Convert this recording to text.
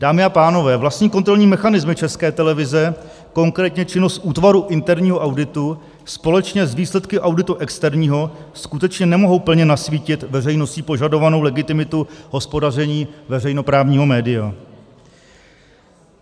Dámy a pánové, vlastní kontrolní mechanismy České televize, konkrétně činnost útvaru interního auditu společně s výsledky auditu externího, skutečně nemohou plně nasvítit veřejností požadovanou legitimitu hospodaření veřejnoprávního média.